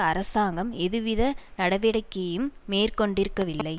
அரசாங்கம் எதுவித நடவடிக்கையையும் மேற்கொண்டிருக்கவில்லை